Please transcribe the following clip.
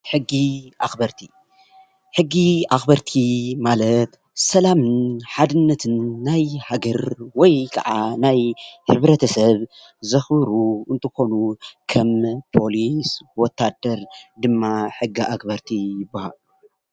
ሕጊ ኣክበርቲ:‑ ሕጊ ኣክበርቲ ማለት ሰላምን ሓድነትነ ናይ ሃገር ወይከዓ ናይ ሕብረተሰብ ዘክብሩ እንትኮኑ ከም ፖሊስ ወታደር ድማ ሕጊ ኣክበርቲ ይበሃሉ።